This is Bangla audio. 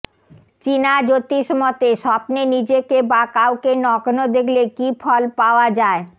চিনা জ্যোতিষমতে স্বপ্নে নিজেকে বা কাউকে নগ্ন দেখলে কী ফল পাওয়া যায়